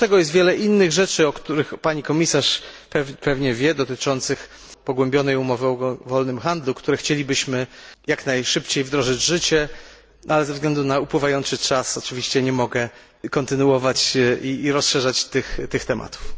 Oprócz tego jest wiele innych rzeczy, o których pani komisarz pewnie wie, dotyczących pogłębionej umowy o wolnym handlu, które chcielibyśmy jak najszybciej wprowadzić w życie, ale ze względu na upływający czas oczywiście nie mogę kontynuować i rozszerzać tych tematów.